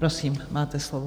Prosím, máte slovo.